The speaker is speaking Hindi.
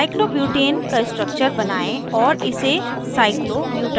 cyclobutane cyclobutane का structures बनायें और इसे cyclobutadiene cyclobutadiene में बदलें